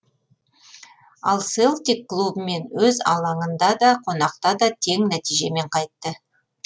ал селтик клубымен өз алаңында да қонақта да тең нәтижемен қайтты